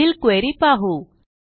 पुढील क्वेरी पाहू